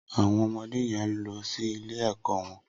Awọn ọmọdé yèn n lọ si ilé ẹkọ wọn